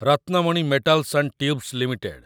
Ratnamani metals and tubes limited